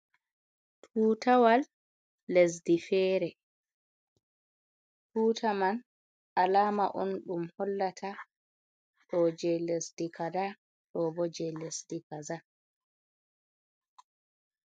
Tutawal lesdi fere. Tuta man, alama on ɗum hollata ɗo jei lesdi kazaa ɗo bo jei lesdi kazaa.